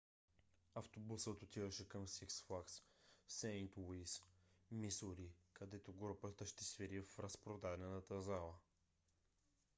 автобусът отиваше към сикс флагс сейнт луис мисури където групата ще свири в разпродадена зала